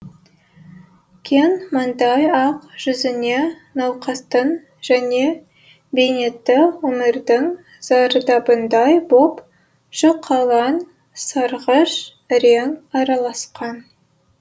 кең мандай ақ жүзіне науқастың және бейнетті өмірдің зардабындай боп жұқалаң сарғыш рең араласқан